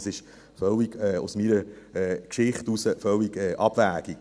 Es ist aus meiner Geschichte heraus völlig abwegig.